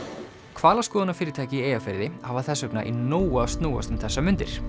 hvalaskoðunarfyrirtæki í Eyjafirði hafa þess vegna í nógu að snúast um þessar mundir